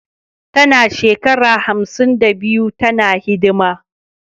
Tana shekara hamsin da biyu tana hidima